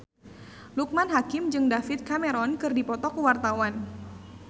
Loekman Hakim jeung David Cameron keur dipoto ku wartawan